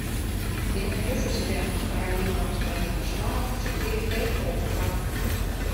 ты найдешь у себя каролина в стране кошмаров четыре кей окко